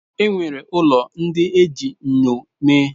E nwere ụlọ ndị e ji enyo mee.